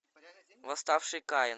восставший каин